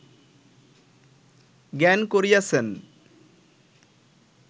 জ্ঞান করিয়াছেন